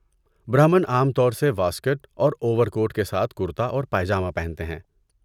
برہمن عام طور سے واسکٹ اور اوور کوٹ کے ساتھ کرتا اور پائجامہ پہنتے ہیں۔